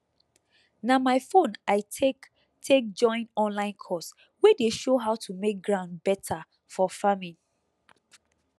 na my phone i take take join online course wey dey show how to make ground better for farming